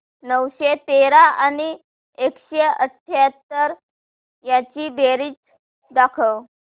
नऊशे तेरा आणि एकशे अठयाहत्तर यांची बेरीज दाखव